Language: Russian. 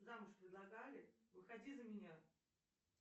замуж предлагали выходи за меня